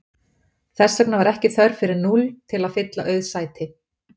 Þess vegna var ekki þörf fyrir núll til að fylla auð sæti.